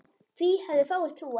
Því hefðu fáir trúað.